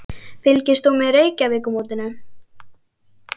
Fylgist þú með Reykjavíkurmótinu?